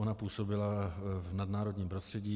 Ona působila v nadnárodním prostředí.